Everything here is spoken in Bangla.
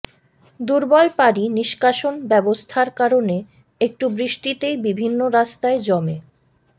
দুর্বল পানি নিষ্কাশন ব্যবস্থার কারণে একটু বৃষ্টিতেই বিভিন্ন রাস্তায় জমে